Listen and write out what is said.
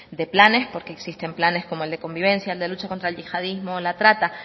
de planes porque existen planes como el de convivencia el de lucha con yihadismo o la trata